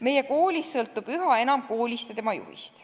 Meie koolis sõltub üha enam koolist ja tema juhist.